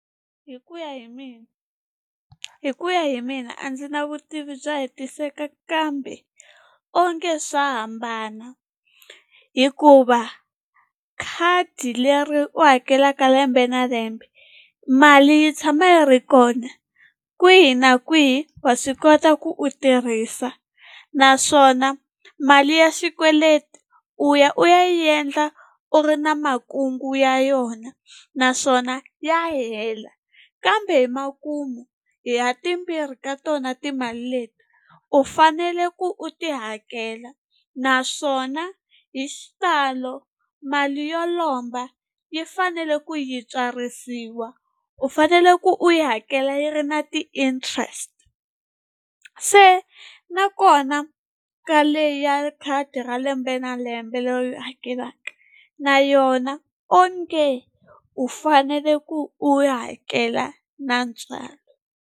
Hi ku ya hi mina hi ku ya hi mina a ndzi na vutivi bya hetiseka kambe onge swa hambana, hikuva khadi leri u hakelaka lembe na lembe mali yi tshama yi ri kona kwihi na kwihi wa swi kota ku u tirhisa naswona mali ya xikweleti u ya u ya yi endla u ri na makungu ya yona, naswona ya hela kambe hi makumu ha timbirhi ka tona timali leti u fanele ku u ti hakela, naswona hi xitalo mali yo lomba yi fanele ku yi tswarisiwa u fanele ku u yi hakela yi ri na ti-interest. Se nakona ka leyi ya khadi ra lembe na lembe leyi u yi hakelaka na yona onge u fanele ku u hakela na ntswalo.